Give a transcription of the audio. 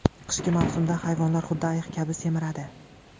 Qishki mavsumda hayvonlar xuddi ayiq kabi semiradi.